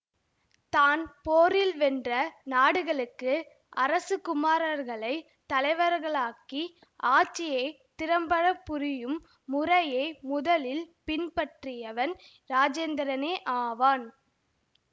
தான் போரில் வென்ற நாடுகளுக்கு அரச குமாரர்களைத் தலைவர்களாக்கி ஆட்சியை திறம்படப் புரியும் முறையை முதலில் பின்பற்றியவன் இராஜேந்திரனே ஆவான்